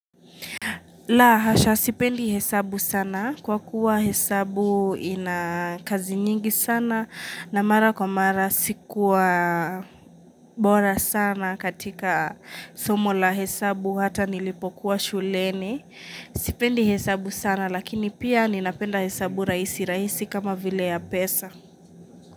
La hasha sipendi hesabu sana kwa kuwa hesabu inakazi nyingi sana na mara kwa mara sikuwa bora sana katika somo la hesabu hata nilipokuwa shuleni. Sipendi hesabu sana lakini pia ninapenda hesabu raisi raisi kama vile ya pesa.